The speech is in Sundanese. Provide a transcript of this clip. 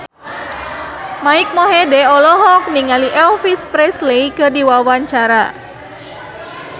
Mike Mohede olohok ningali Elvis Presley keur diwawancara